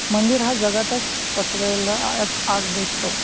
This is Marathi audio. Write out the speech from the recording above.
मंदिर हा जगातच पसरलेला आ आज दिसतो.